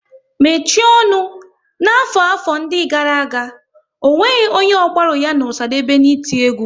Mechie ọnụ! N'afọ 'afọ ndị gara aga, ọ nweghị onye ọ gbaru ya na Osadebe n' iti egwu